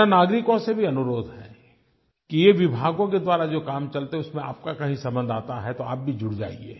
मेरा नागरिकों से भी अनुरोध है कि ये विभागों के द्वारा जो काम चलता है उसमें आपका कहीं संबंध आता है तो आप भी जुड़ जाइए